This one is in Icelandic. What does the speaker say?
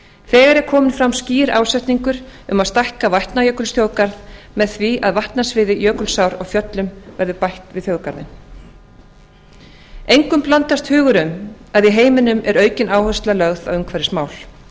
þegar er kominn fram skýr ásetningur um að stækka vatnajökulsþjóðgarð með því að vatnasviði jökulsár á fjöllum verði bætt við þjóðgarðinn engum blandast hugur um að í heiminum er aukin áhersla lögð á umhverfismál